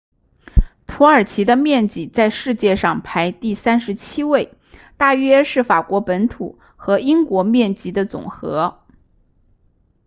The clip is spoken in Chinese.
土耳其的面积在世界上排第37位大约是法国本土和英国面积的总和